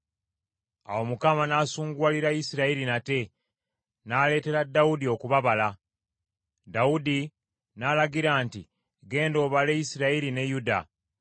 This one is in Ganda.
Awo Mukama n’asunguwalira Isirayiri nate, n’aleetera Dawudi okubabala. Dawudi n’alagira nti, “Genda obale Isirayiri ne Yuda.”